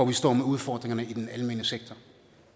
vi står med udfordringerne i den almene sektor